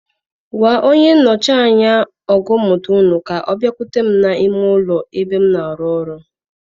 Gwa onye nnọchi anya ogo mmụta ùnú ka ọ biakwute m n'ime ụlọ ebe m na-arụ ọrụ.